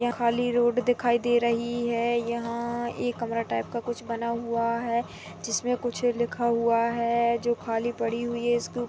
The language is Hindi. यहाँ खाली रोड़ दिखाई दे रही है यहाँ एक कमरा टाइप का कुछ बना हुआ है जिसमें कुछ लिखा हुआ है जो खाली पड़ी हुई हैं। इसके--